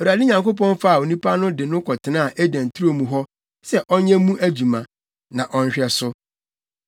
Awurade Nyankopɔn faa onipa no de no kɔtenaa Eden turo mu hɔ sɛ ɔnyɛ mu adwuma, na ɔnhwɛ so.